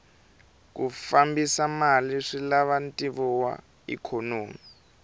ku fambisa mali swilava ntivo wa ikhonomi